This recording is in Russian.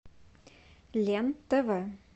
лен тв